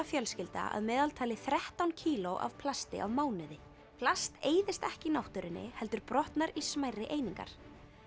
fjölskylda að meðaltali þrettán kíló af plasti á mánuði plast eyðist ekki í náttúrunni heldur brotnar í smærri einingar